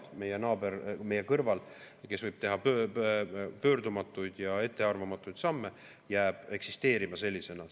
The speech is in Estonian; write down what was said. Ta on meie naaber meie kõrval, kes võib teha pöördumatuid ja ettearvamatuid samme, ja jääb eksisteerima sellisena.